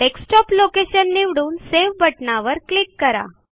desktop location निवडून save बटणावर click करा